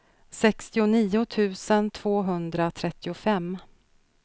sextionio tusen tvåhundratrettiofem